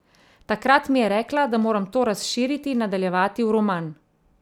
Takrat mi je rekla, da moram to razširiti in nadaljevati v roman.